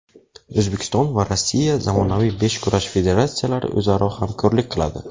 O‘zbekiston va Rossiya zamonaviy beshkurash federatsiyalari o‘zaro hamkorlik qiladi.